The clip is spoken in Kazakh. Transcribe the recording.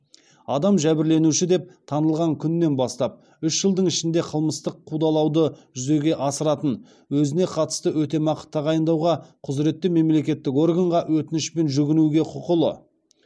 адам жәбірленуші деп танылған күннен бастап үш жылдың ішінде қылмыстық қудалауды жүзеге асыратын өзіне қатысты өтемақы тағайындауға құзыретті мемлекеттік органға өтінішпен жүгінуге құқылы